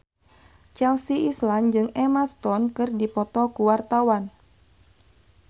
Chelsea Islan jeung Emma Stone keur dipoto ku wartawan